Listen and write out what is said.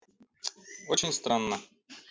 очень странно